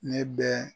Ne bɛ